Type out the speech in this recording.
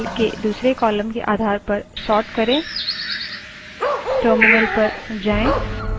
marks txt file के दूसरी column के आधार पर sort करें